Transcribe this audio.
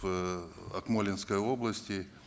в акмолинской области